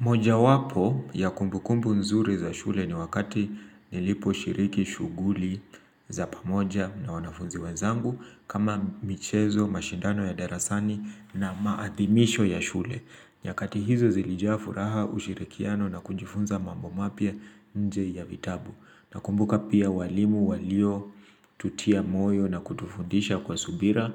Mojawapo ya kumbukumbu nzuri za shule ni wakati niliposhiriki shughuli za pamoja na wanafunzi wenzangu kama michezo, mashindano ya darasani na maathimisho ya shule. Nyakati hizo zilijaa furaha ushirikiano na kujifunza mambo mapya nje ya vitabu. Nakumbuka pia walimu walio tutia moyo na kutufundisha kwa subira